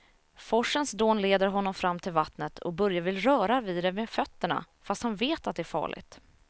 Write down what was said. Forsens dån leder honom fram till vattnet och Börje vill röra vid det med fötterna, fast han vet att det är farligt.